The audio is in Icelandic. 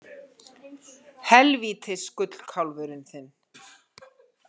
Helvítis gullkálfurinn þinn!